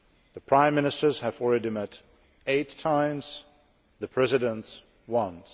The Prime Ministers have already met eight times and the Presidents once.